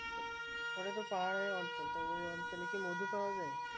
ওটাতো পাহাড়ি অঞ্চল তা অঞ্চলে কি নদী পাওয়া যায়